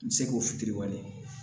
N bɛ se k'o fitiriwale